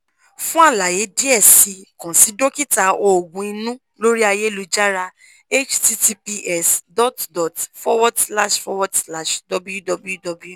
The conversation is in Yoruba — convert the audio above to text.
fun àlàyé diẹ sii kan si dókítà oògùn inu lori ayélujára https dot dot forward slash forward slash www